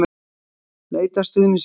Leita stuðnings við framboð